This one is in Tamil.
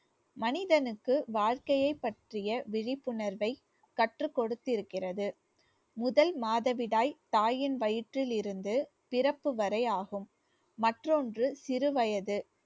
மனிதனுக்கு வாழ்க்கையைப் பற்றிய விழிப்புணர்வை கற்றுக் கொடுத்திருக்கிறது. முதல் மாதவிடாய் தாயின் வயிற்றிலிருந்து பிறப்பு வரை ஆகும் மற்றொன்று சிறு வயது